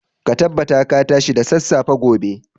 Ka tabbata ka tashi da sassafe gobe.